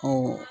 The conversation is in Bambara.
Ko